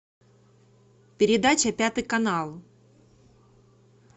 передача пятый канал